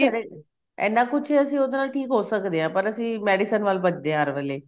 ਘਰੇ ਇੰਨਾ ਕੁੱਝ ਅਸੀਂ ਠੀਕ ਹੋ ਸਕਦੇ ਆ ਪਰ ਅਸੀਂ medicine ਵੱਲ ਭਜਦੇ ਆ ਹਰ ਵੇਲੇ